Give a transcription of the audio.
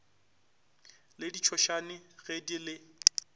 le ditšhošane ge di le